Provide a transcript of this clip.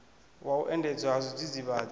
wa u endedzwa ha zwidzidzivhadzi